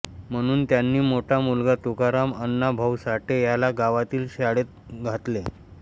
म्हणून त्यांनी मोठा मुलगा तुकाराम अण्णा भाऊ साठे याला गावातील शाळेत घातले